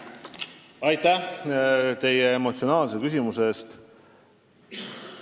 Aitäh teile emotsionaalse küsimuse eest!